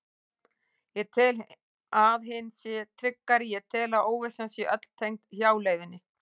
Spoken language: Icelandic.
Ég tel að hin sé tryggari, ég tel að óvissan sé öll tengd hjáleiðinni.